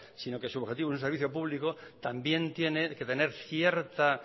sino que su objetivo es un servicio público también tiene que tener cierta